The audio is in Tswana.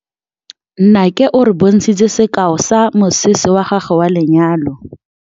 Nnake o re bontshitse sekaô sa mosese wa gagwe wa lenyalo.